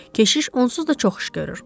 Keşiş onsuz da çox iş görür.